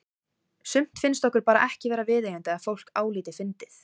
Sumt finnst okkur bara ekki vera viðeigandi að fólk álíti fyndið.